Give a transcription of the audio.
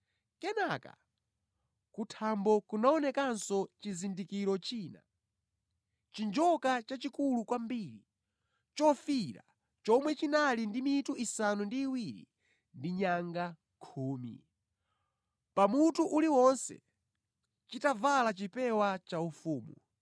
Kenaka ku thambo kunaonekanso chizindikiro china; chinjoka chachikulu kwambiri, chofiira chomwe chinali ndi mitu isanu ndi iwiri ndi nyanga khumi; pamutu uliwonse chitavala chipewa chaufumu.